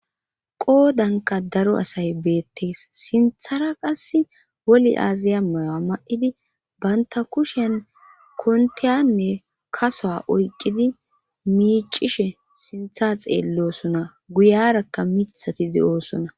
Qoodankka daro asay beettees siinththara qass woli aazaya mayoa ma'idi baynta kushen konteyanne kasoa oyqqidi miicishe sintha xeellosona guyarakka mithatidi oosona